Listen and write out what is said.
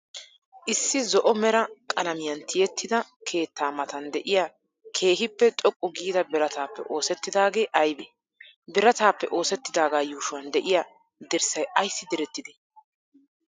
issi zo'o mera qaalamiyan tiyettida keettaa matan de'iya keehippe xoqqu gidda biraatappe oosettidagee aybee? biraatappe oosettidagaa yuushuwan de'iya dirssay aysi direettidee?